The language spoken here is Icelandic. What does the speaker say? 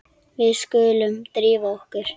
Við skulum drífa okkur.